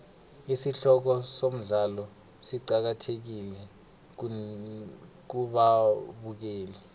isihloko somdlalo siqakathekile kubabukeli